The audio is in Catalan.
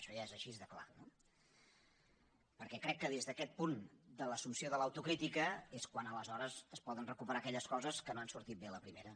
això ja és així de clar eh perquè crec que des d’aquest punt de l’assumpció de l’autocrítica és quan aleshores es poden recuperar aquelles coses que no han sortit bé a la primera